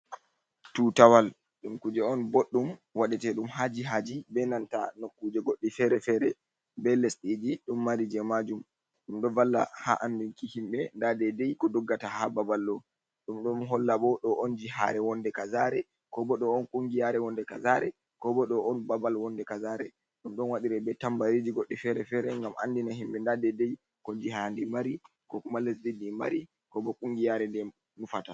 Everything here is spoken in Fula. Tutawal ɗum kuje on ɓoɗɗum waɗe te ɗum ha jihaji be nanta no kuje goɗɗi fere-fere, be lesɗiji ɗum mari je ma jum, ɗum ɗo valla ha andinki himɓe nda dedei ko doggata ha babal, ɗum ɗo holla bo ɗo on jihare wonde kazare, ko bo ɗo on kungiyare wonde kasare, ko bo ɗo on babal wonde kazare, ɗum ɗon wadira be tambariji goɗɗi fere-fere, gam andina himɓe nda de dei ko jiha ndi mari, ko kuma lesdidi mari ko bo kungiyare nde nufata.